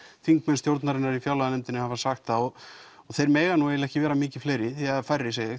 þingmenn í fjárlaganefndinni hafa sagt það og þeir mega eiginlega ekki vera mikið fleiri eða færri segi ég